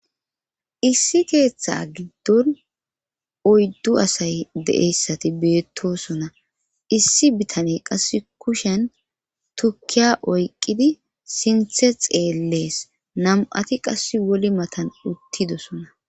issi keeththa giddon oyddu asay de7eyssati beettosona issi bitane qasse kushen tukkiya oyqqidi sinthe xeellees nam'ati qass woli matan uttidosona